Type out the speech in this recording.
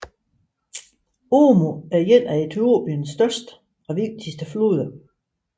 Omo er en af Etiopiens største og vigtigste floder